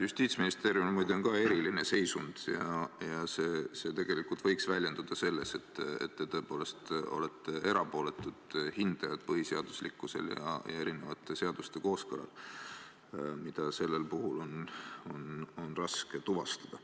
Justiitsministeeriumil on muide ka eriline seisund ja see võiks tegelikult väljenduda selles, et te tõepoolest olete erapooletud hindajad põhiseaduslikkuse ja erinevate seaduste kooskõla suhtes, mida sellel puhul on raske tuvastada.